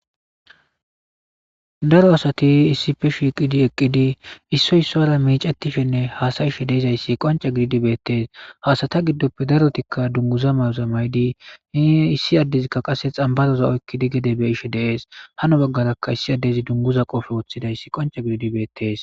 Daro asati issife shiiqidi eqqidi issoy issora miicettishenne haasayishe deizayssi qonca gididi beettees haasata giddoppe darotikka dunguza mayozamaydi hi issi addezikka qasse xambaroza oykkidi gede be ishe deees hano baggarakka issi addezi dunguza qofe wothidayssi qonca gididibeettees